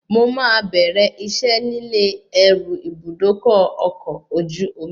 Mo máa bẹ̀rẹ̀ iṣẹ́ nílé ẹrú Ibùdókọ̀ ọkọ̀ ojú omi